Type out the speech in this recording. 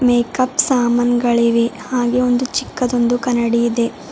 Makeup ಸಾಮಾನ್ ಗಳಿವೆ ಹಾಗೆ ಒಂದು ಚಿಕ್ಕದೊಂದು ಕನ್ನಡಿ ಇದೆ.